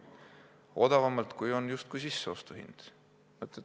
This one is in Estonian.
Justkui odavamalt, kui on sisseostuhind.